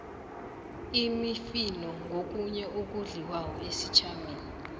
imifino ngokhunye okudliwako esitjhabeni